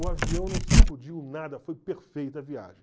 O avião não sacudiu nada, foi perfeita a viagem.